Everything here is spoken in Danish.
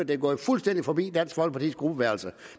det er gået fuldstændig forbi dansk folkepartis gruppeværelse